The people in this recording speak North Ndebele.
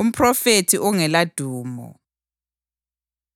Umphrofethi Ongeladumo